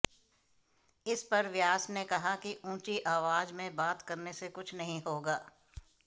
इस पर व्यास ने कहा कि ऊंची आवाज में बात करने से कुछ नहीं होगा